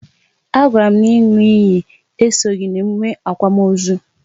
A gwara m n'inwu iyi esoghị n'emume akwamozu